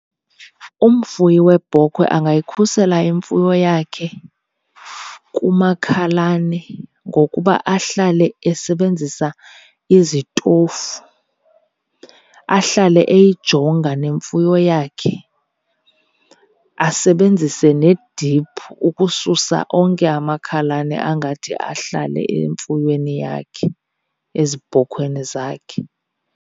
Umfuyi webhokhwe angayikhusela imfuyo yakhe kumakhalane ngokuba ahlale esebenzisa izitofu, ahlale eyijonga nemfuyo yakhe, asebenzise nediphu ukususa onke amakhalane angathi ahlale emfuyweni yakhe, ezibhokhweni zakhe.